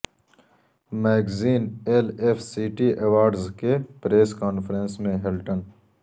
magazine L F city awards کے press conference میں Hilton